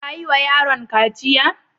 Ka yiwa yaron kaciya.